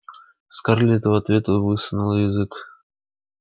скарлетт в ответ высунула язык